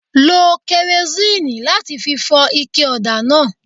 Lo kẹrosínìì láti fi fọ ike ọ̀dà náà.